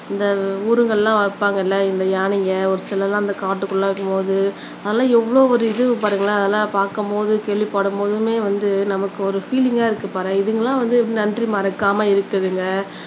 இந்த ஊருகள்லாம் வைப்பாங்க இல்ல இந்த யானைக ஒரு சிலதெல்லாம் இந்த காட்டுக்குள்ள போது அதெல்லாம் எவ்வளவு ஒரு இது பாருங்களேன் அதெல்லாம் பாக்கும்போது கேள்விப்படும்போதுமே வந்து நமக்கு ஒரு ஃபீலிங்கா இருக்குது பாரேன் இதுங்க எல்லாம் வந்து நன்றி மறக்காம இருக்குதுங்க